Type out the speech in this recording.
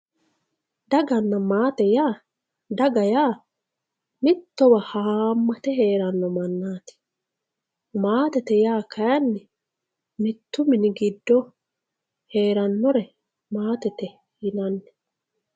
Dagana maate yaa, daga yaa mittowa hamate heerano mannati maatete yaa kayinni mitu mini giddo heeranore maatete yinanni.